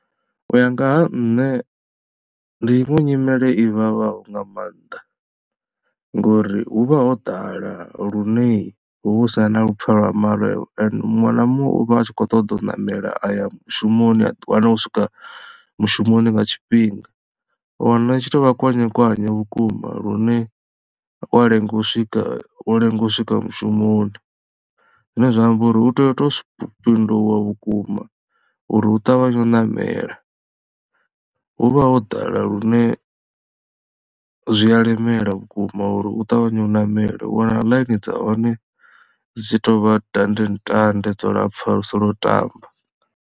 U ya nga ha nṋe ndi iṅwe nyimele i vhavhaho nga maanḓa ngori hu vha ho ḓala lune hu vha hu sina na vhupfhelo ha mare muṅwe na muṅwe u vha a tshi kho ṱoḓa u ṋamela aya mushumoni a ḓiwana o swika mushumoni nga tshifhinga. U wana i tshi to vha kwanyekwanye vhukuma lune wa lenga u swika wo lenga u swika mushumoni zwine zwa amba uri u tea u to fhinduwa vhukuma uri u ṱavhanye u nṋmela hu vha ho ḓala lune zwi a lemela vhukuma uri u ṱavhanye u ṋamele u wana ḽaini dza hone dzi tshi tovha dande ntande dzo lapfha lu si lwo tamba.